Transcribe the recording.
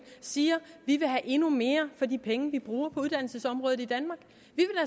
siger vi vil have endnu mere for de penge vi bruger på uddannelsesområdet i kan